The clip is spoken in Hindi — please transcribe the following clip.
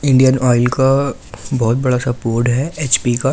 इंडियन ऑयल का बोहोत बड़ासा बोर्ड है एच_पी का।